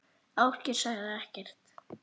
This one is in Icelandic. Ásgeir segir ekkert.